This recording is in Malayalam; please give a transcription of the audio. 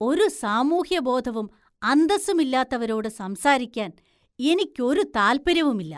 ഒരു സാമൂഹ്യബോധവും അന്തസ്സുമില്ലാത്തവരോട് സംസാരിക്കാന്‍ എനിക്കൊരു താല്‍പര്യവുമില്ല.